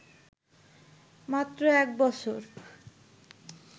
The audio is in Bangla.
মাত্র এক বছর